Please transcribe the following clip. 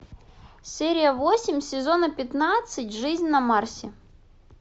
серия восемь сезона пятнадцать жизнь на марсе